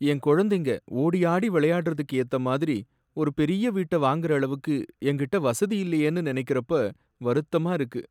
என் குழந்தைங்க ஓடியாடி விளையாடுறதுக்கு ஏத்த மாதிரி ஒரு பெரிய வீட்ட வாங்குற அளவுக்கு என்கிட்ட வசதி இல்லையேன்னு நினைக்கிறப்ப வருத்தமா இருக்கு.